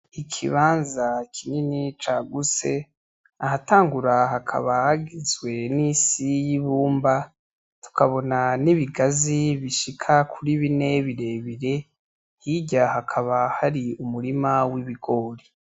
Ikibanza kinini cagutse, ahatangura hakaba hagizwe n'isi y'ibumba, tukabona n'ibigazi bishika kuri bine birebire, hirya hakaba hari umurima w'ibigori.